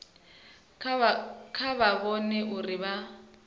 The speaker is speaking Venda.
kha vha vhone uri vha